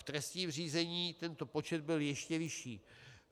V trestním řízení tento počet byl ještě vyšší.